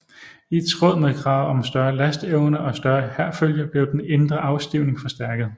I tråd med kravet om større lasteevne og større hærfølge blev den indre afstivning forstærket